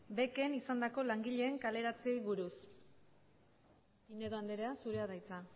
becen izandako langileen kaleratzeei buruz pinedo anderea zurea da hitza